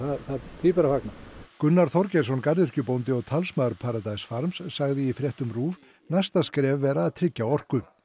því ber að fagna Gunnar Þorgeirsson garðyrkjubóndi og talsmaður farms sagði í fréttum RÚV næsta skref væri að tryggja orku